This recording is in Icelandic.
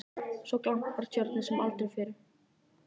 Svo glampar Tjörnin sem aldrei fyrr.